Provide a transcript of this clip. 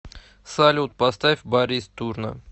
салют поставь барис турна